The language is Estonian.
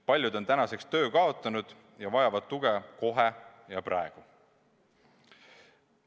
Paljud on töö kaotanud ja vajavad tuge kohe ja praegu.